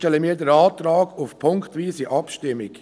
Deshalb stellen wir den Antrag auf punktweise Abstimmung.